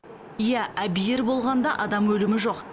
иә әбүйір болғанда адам өлімі жоқ